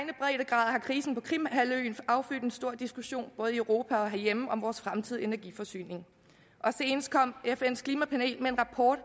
har krisen på krimhalvøen affødt en stor diskussion både i europa og herhjemme om vores fremtidige energiforsyning senest kom fns klimapanel med en rapport